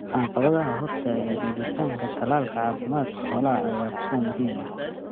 Caqabadaha hortaagan helitaanka tallaalka caafimaadka xoolaha ayaa ah kuwo muhiim ah.